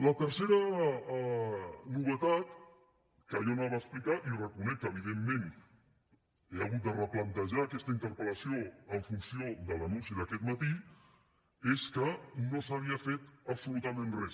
la tercera novetat que jo explicaré i reconec que evidentment he hagut de replantejar aquesta interpel·lació en funció de l’anunci d’aquest matí és que no s’havia fet absolutament res